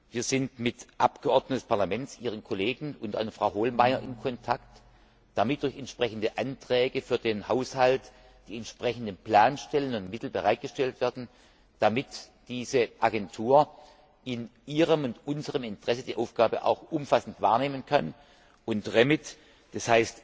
Wir sind mit Abgeordneten des Parlaments, Ihren Kollegen, unter anderem Frau Hohlmeier, in Kontakt, damit durch entsprechende Anträge für den Haushalt die entsprechenden Planstellen und Mittel bereitgestellt werden, damit diese Agentur in Ihrem und unserem Interesse die Aufgabe umfassend wahrnehmen kann, und REMIT, d.